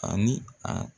Ani a